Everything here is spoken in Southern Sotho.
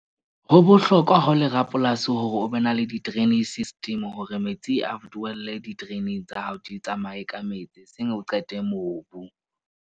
Ho bohlokwa ha o le rapolasi hore o be na le di-draining system hore metsi a di-draining tsa hao, di tsamaye ka metsi eseng o qete mobu.